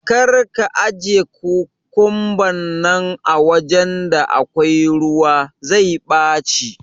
karka ajiye kukumban nan awajan da akwai ruwa, zai ɓaci.